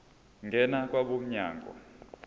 ngena kwabo mnyango